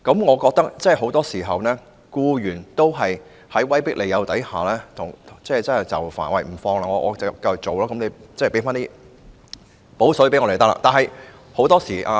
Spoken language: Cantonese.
我認為，很多時候，僱員在威迫利誘下就範，在勞工假期上班，只要求僱主"補水"。